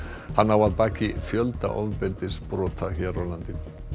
hann á að baki fjölda ofbeldisbrota hér á landi